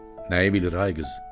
Nəyi bilir ay qız?